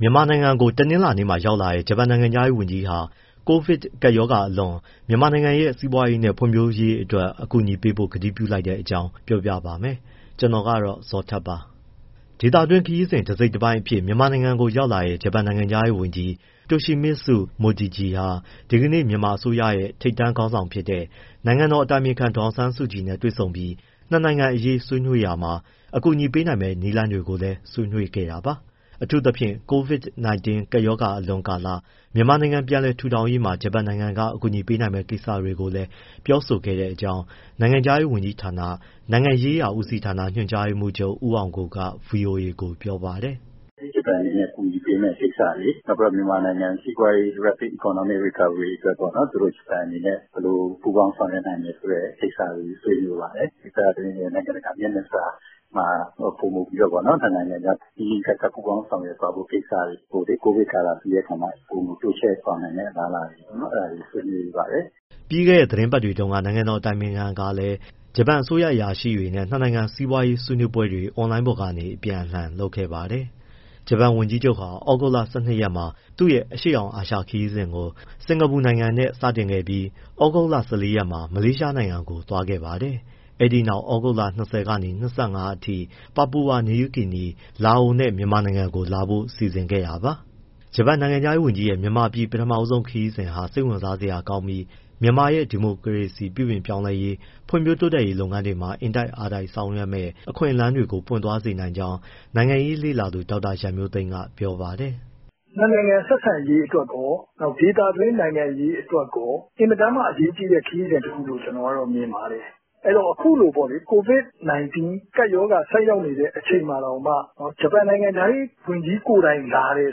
မြန်မာနိုင်ငံကို တနင်္လာနေ့က ရောက်လာတဲ့ ဂျပန်နိုင်ငံခြားရေးဝန်ကြီးဟာ ကိုဗစ်ကပ်ရောဂါအလွန် မြန်မာနိုင်ငံရဲ့ စီးပွားရေးနဲ့ ဖွံ့ဖြိုးရေးအတွက် အကူအညီပေးဖို့ ကတိပြုလိုက်တဲ့အကြောင်း ပြောပြပါမယ်။ ဗွီအိုအေမြန်မာပိုင်း သတင်းထောက် ကိုဇော်ထက် တင်ဆက်ပေးပါမယ်။ ဒေသတွင်းခရီးစဉ် တစိတ်တပိုင်းအဖြစ် မြန်မာနိုင်ငံကိုရောက်လာတဲ့ ဂျပန်နိုင်ငံခြားရေးဝန်ကြီး Toshimitsu Motegi ဟာ ဒီကနေ့ မြန်မာအစိုးရရဲ့ ထိပ်တန်းခေါင်းဆောင်ဖြစ်တဲ့ နိုင်ငံတော်အတိုင်ပင်ခံပုဂ္ဂိုလ် ဒေါ်ဆောင်ဆန်းစုကြည်နဲ့ တွေ့ဆုံပြီး ၂ နိုင်ငံအရေး ဆွေးနွေးရာမှာ အကူအညီပေးနိုင်မယ့် နည်းလမ်းတွေကိုလည်း ဆွေးနွေးခဲ့တာပါ။ အထူးသဖြင့် COVID-19 ကပ်ရောဂါအလွန် ကာလ မြန်မာနိုင်ငံ ပြန်လည်ထူထောင်ရေးမှာ ဂျပန်နိုင်ငံက အကူအညီပေးမယ့် ကိစ္စတွေကိုလည်း ပြောဆိုခဲ့တဲ့အကြောင်း နိုင်ငံခြားရေးဝန်ကြီးဌာန၊ နိုင်ငံရေးရာဦးစီးဌာန ညွှန်ကြားရေးမှူးချုပ် ဦးအောင်ကိုက ဗွီအိုအေကို ပြောပါတယ်။ “ ဂျပန်အနေနဲ့ အကူအညီပေးမယ့်ကိစ္စတွေ၊ နောက်မြန်မာနိုင်ငံရဲ့ စီးပွားရေး rapid economic recovery အတွက်ပေါ့နော် သူတို့ဂျပန်အနေနဲ့ ဘယ်လိုပူပေါင်း ဆောင်ရွက်နိုင်မယ်ဆိုတဲ့ ကိစ္စတွေ ဆွေးနွေးပါတယ်။ ဒေသတွင်းနဲ့ နိုင်ငံတကာ မျက်နှာစာမှာ ပိုမိုပြီးတော့ပေါ့နော် နှစ်နိုင်ငံကြားနီးနီးကပ်ကပ် ပူးပေါင်းဆောင်ရွက်သွားဖို့ကိစ္စတွေကို COVID ကာလပြီးတဲ့အခါမှာ ပိုမိုတိုးချဲ့သွားနိုင်မယ့် အလားအလာ၊ အဲဒါတွေ ဆွေးနွေးပါတယ်။ ” ပြီးခဲ့တဲ့ သီတင်းပတ်တွေတုန်းက နိုင်ငံတော်အတိုင်ပင်ခံကလည်း ဂျပန်အစိုးရ အရာရှိတွေနဲ့ နှစ်နိုင်ငံ စီးပွားရေး ဆွေးနွေးပွဲတွေ အွန်လိုင်းပေါ်ကနေ အပြန်အလှန် လုပ်ခဲ့ပါတယ်။ ဂျပန်ဝန်ကြီးချုပ်ဟာ ဩဂုတ်လ ၁၂ရက်မှာ သူ့ရဲ့ အရှေ့တောင်အာရှခရီးစဉ်ကို စင်္ကာပူနိုင်ငံနဲ့ စတင်ခဲ့ပြီး၊ ဩဂုတ်လ ၁၄ ရက်မှာ မလေးရှားနိုင်ငံကို သွားခဲ့ပါတယ်။ အဲဒီနောက် ဩဂုတ်လ ၂၀ ကနေ ၂၅ ရက်အထိ Papua New Guinea၊ လာအိုနဲ့၊ မြန်မာနိုင်ငံကို လာဖို့စီစဉ်ခဲ့တာပါ။ ဂျပန်နိုင်ငံခြားရေးဝန်ကြီးရဲ့ မြန်မာပြည် ပထမဦးဆုံးခရီးစဉ်ဟာ စိတ်ဝင်စားစရာကောင်းပြီး မြန်မာရဲ့ ဒီမိုကရေစီ ပြုပြင်ပြောင်းလဲရေး၊ ဖွံ့ဖြိုးတိုးတက်ရေးလုပ်ငန်းတွေမှာ အင်တိုက်အားတိုက်ဆောင်ရွက်မယ့် အခွင့်အလမ်းတွေကို ပွင့်သွားစေနိုင်ကြောင်း နိုင်ငံရေးလေ့လာသူ ဒေါက်တာရန်မျိုးသိမ်းက ပြောပါတယ်။ “ နှစ်နိုင်ငံ ဆက်ဆံရေးအတွက်ရော ဒေသတွင်းနိုင်ငံရေးအတွက်ရော အင်မတန်မှာ အရေးကြီးတဲ့ ခရီးစဉ်တခုလို့ ကျနော်က မြင်ပါတယ်။ အဲဒီတော့ အခုလို COVID-19 ကပ်ရောဂါ ဆိုက်ရောက်နေတဲ့ အချိန်မှာတောင်မှ ဂျပန်နိုင်ငံခြားရေး ဝန်ကြီးကိုယ်တိုင်လာတယ်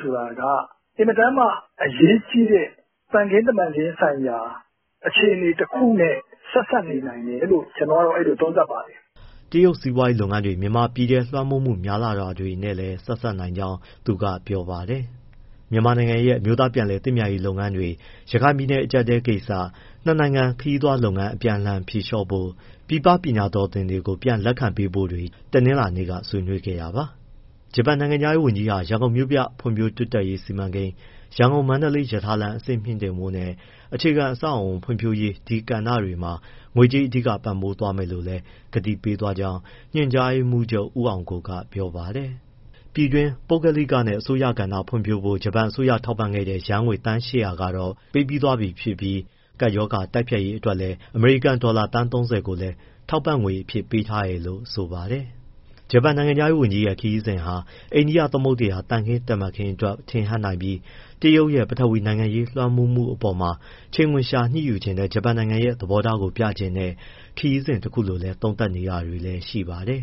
ဆိုတာက အင်မတန်မှ အရေးကြီးတဲ့ သံခင်းတမန်ခင်းဆိုင်ရာ အခြေအနေတခုနဲ့ ဆက်စပ်နေနိုင်တယ်လို့ ကျနော်ကတော့ အဲဒီလို သုံးသပ်ပါတယ်။” တရုတ်စီးပွားရေးလုပ်ငန်းတွေ မြန်မာပြည်ထဲ လွှမ်းမိုးမှုများလာတာတွေနဲ့လည်း ဆက်စပ်နိုင်ကြောင်းလည်း သူက ပြောပါတယ်။ မြန်မာနိုင်ငံရဲ့ အမျိုးသားပြန်လည်သင့်မြတ်ရေး လုပ်ငန်းတွေ၊ ရခိုင်ပြည်နယ် အကျပ်အတည်းကိစ္စ၊ နှစ်နိုင်ငံ ခရီးသွားလုပ်ငန်း အပြန်အလှန်ဖြေလျှော့ဖို့၊ ပြည်ပပညာတော်သင်တွေကို ပြန်လက်ခံပေးဖို့တွေ ဒီကနေ့ ဆွေးနွေးခဲ့တာပါ။ ဂျပန်နိုင်ငံခြားရေးဝန်ကြီးဟာ ရန်ကုန်မြို့ပြဖွံ့ဖြိုးတိုးတက်ရေးစီမံကိန်း၊ ရန်ကုန်- မန္တလေးရထားလမ်း အဆင့်မြှင့်တင်ဖို့နဲ့ အခြေခံအဆောက်အအုံ ဖွံ့ဖြိုးရေး ဒီကဏ္ဍတွေမှာ ငွေကြေးအဓိက ပံ့ပိုးပေးသွားမယ်လို့လည်း ကတိပေးသွားကြောင်း ညွှန်ကြားရေးမှူးချုပ် ဦးအောင်ကို က ပြောပါတယ်။ ပြည်တွင်း ပုဂ္ဂလိကနဲ့ အစိုးရကဏ္ဍဖွံ့ဖြိုးဖို့ ဂျပန်အစိုးရထောက်ပံ့ခဲ့တဲ့ ယန်းငွေ သန်း ၈၀၀ ကတော့ ပေးပြီးသွားပြီဖြစ်ပြီး၊ COVID တိုက်ဖျက်ရေး အတွက်လည်း အမေရိကန်ဒေါ်လာ သန်း ၃၀ ကိုလည်း ထောက်ပံ့ငွေအဖြစ် ပေးထားတယ်လို့ ဆိုပါတယ်။ ဂျပန်နိုင်ငံခြားရေးဝန်ကြီးရဲ့ ခရီးစဉ်ဟာ အိန္ဒိယသမုဒ္ဒရာ သံခင်းတမန်ခင်းအတွက် ထင်ဟပ်နိုင်ပြီး တရုတ်ရဲ့ ပထဝီနိုင်ငံရေး လွှမ်းမိုးမှုအပေါ်မှာ ချိန်ခွင်လျှာညှိယူချင်တဲ့ ဂျပန်နိုင်ငံရဲ့ သဘောထားကို ပြတဲ့ ခရီးစဉ်တခုလို့လည်း သုံးသပ်နေတာတွေရှိပါတယ်